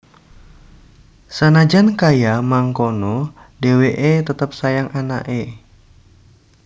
Sanajan kaya mangkono dheweke tetep sayang anake